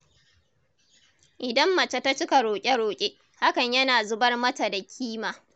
Idan mace ta cika roƙe-roƙe, hakan yana zubar mata da kima.